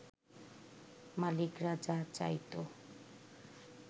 মালিকরা যা চাইত